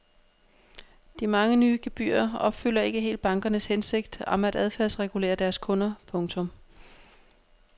De mange nye gebyrer opfylder ikke helt bankernes hensigt om at adfærdsregulere deres kunder. punktum